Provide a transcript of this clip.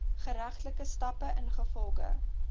geregtelike stappe ingevolge